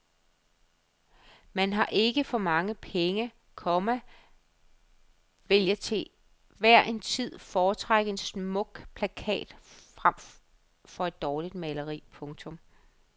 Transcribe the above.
Men har man ikke for mange penge, komma vil jeg til hver en tid foretrække en smuk plakat frem for et dårligt maleri. punktum